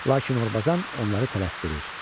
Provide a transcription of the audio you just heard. Lakin Orbazan onları tələsdirir.